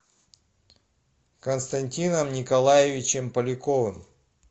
константином николаевичем поляковым